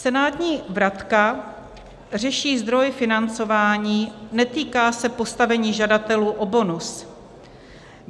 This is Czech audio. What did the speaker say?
Senátní vratka řeší zdroj financování, netýká se postavení žadatelů o bonus.